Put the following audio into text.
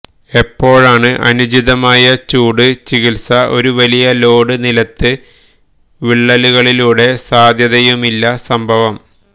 എപ്പോഴാണ് അനുചിതമായ ചൂട് ചികിത്സ ഒരു വലിയ ലോഡ് നിലത്ത് വിള്ളലുകളിലൂടെ സാധ്യതയുമില്ല സംഭവം